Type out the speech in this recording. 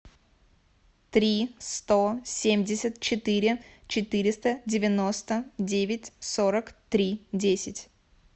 три сто семьдесят четыре четыреста девяносто девять сорок три десять